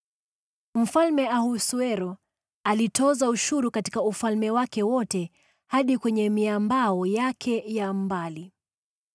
Mfalme Ahasuero alitoza ushuru katika ufalme wake wote hadi kwenye miambao yake ya mbali.